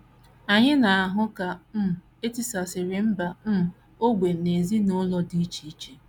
Anyị na - ahụ ka um e tisasịrị mba um, ógbè, na ezinụlọ dị iche iche.